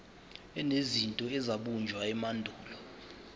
enezinto ezabunjwa emandulo